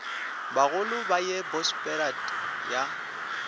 bagolo ba ye bosberad ya